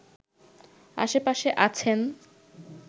আশেপাশে আছেন